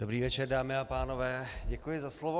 Dobrý večer, dámy a pánové, děkuji za slovo.